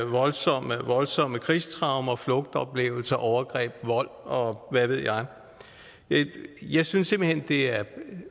voldsomme voldsomme krigstraumer flugtoplevelser overgreb vold og hvad ved jeg jeg synes simpelt hen at det er